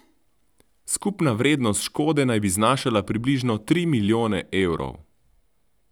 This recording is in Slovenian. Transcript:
Skupna vrednost škode naj bi znašala približno tri milijone evrov!